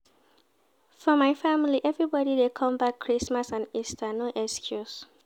For my family, everbodi dey come back Christmas and Easter, no excuse.